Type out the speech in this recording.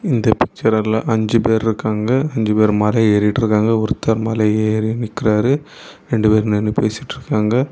இந்த பிச்சர்ல அஞ்சு பேர்ருக்காங்க அஞ்சு பேரும் மல ஏறிட்டுருக்காங்க ஒருத்தர் மல ஏறி நிற்கிறாரு ரெண்டு பேர் நின்னு பேசிட்டுருக்காங்க.